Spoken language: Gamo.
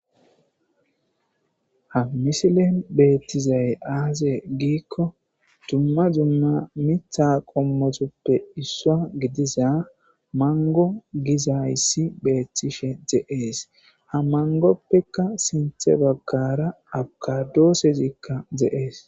Ha misilen beettizay aaze giikko dumma dumma miththa qommotuppe issuwa gidiza mango gizayssi beettishe de'es ha mangoppeka sinthe baggara abkaadoosezikka de'es.